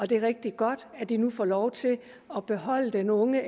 det er rigtig godt at de nu får lov til at beholde den unge